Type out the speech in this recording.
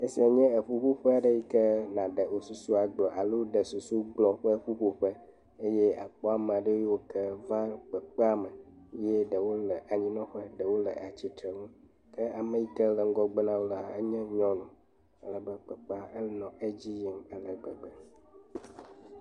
Asia ye nye eƒuƒo ƒe yike na ɖe wo susu agblɔ alo susu gblɔ ƒe ƒuƒoƒe eye akpɔ ame aɖe yiwo ke va kpekpea me eye ɖe wole anyi nɔ ƒe eye ɖewo le atsitre ŋu ke ame yike le ŋgɔgbe nawo la enye nyɔnu alabe kpekpe enɔ edzi yim ale agbegbe.